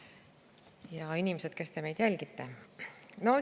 Ja inimesed, kes te meid jälgite!